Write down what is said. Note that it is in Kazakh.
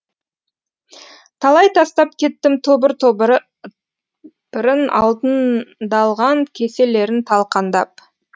талай тастап кеттім тобыр топырын алтындалған кеселерін талқандап